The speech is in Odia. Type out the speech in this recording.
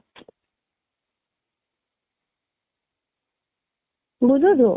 ବୁଝୁଛୁ